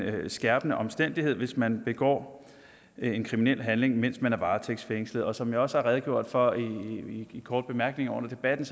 skærpende omstændighed hvis man begår en kriminel handling mens man er varetægtsfængslet som jeg også har redegjort for i korte bemærkninger under debatten